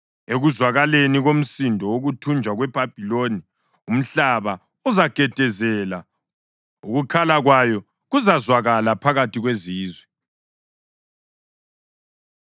Ekuzwakaleni komsindo wokuthunjwa kweBhabhiloni umhlaba uzagedezela; ukukhala kwayo kuzazwakala phakathi kwezizwe.